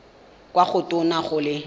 kwa go tona go le